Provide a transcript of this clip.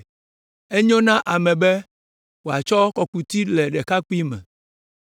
Enyo na ame be wòatsɔ kɔkuti le ɖekakpuime.